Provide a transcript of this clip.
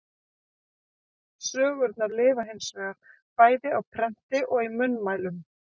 Sögurnar lifa hins vegar, bæði á prenti og í munnmælum.